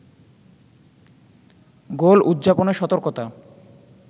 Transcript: গোল উদযাপনে সতর্কতা